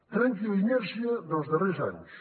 trenqui la inèrcia dels darrers anys